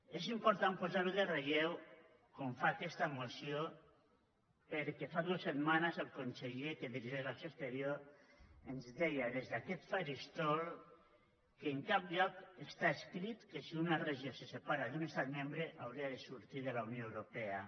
és important posar ho en relleu com ho fa aquesta moció perquè fa dues setmanes el conseller que dirigeix l’acció exterior ens deia des d’aquest faristol que en cap lloc està escrit que si una regió se separa d’un estat membre hauria de sortir de la unió europea